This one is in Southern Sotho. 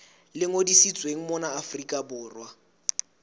le ngodisitsweng mona afrika borwa